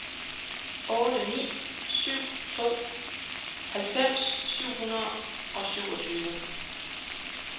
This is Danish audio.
otte ni syv to halvfems syv hundrede og syvogtyve